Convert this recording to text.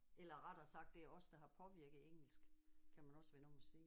Eller rettere sagt det er os der har påvirket engelsk kan man også vende om og sige